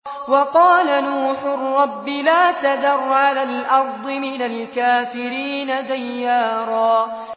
وَقَالَ نُوحٌ رَّبِّ لَا تَذَرْ عَلَى الْأَرْضِ مِنَ الْكَافِرِينَ دَيَّارًا